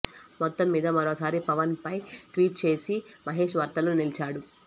మొత్తం మీద మరోసారి పవన్ ఫై ట్వీట్ చేసి మహేష్ వార్తల్లో నిలిచాడు